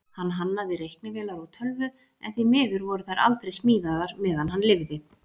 Hann hannaði reiknivélar og tölvu, en því miður voru þær aldrei smíðaðar meðan hann lifði.